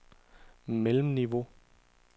mellemniveau